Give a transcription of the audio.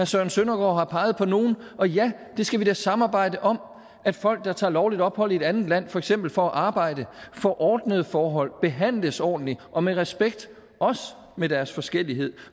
søren søndergaard har peget på nogle af og ja vi skal da samarbejde om at folk der tager lovligt ophold i et andet land for eksempel for at arbejde får ordnede forhold og behandles ordentligt og med respekt også med deres forskellighed